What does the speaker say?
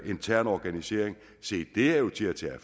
intern organisering se det er jo til at tage